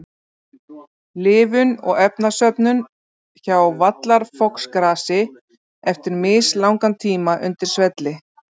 Lifun og efnasöfnun hjá vallarfoxgrasi eftir mislangan tíma undir svelli.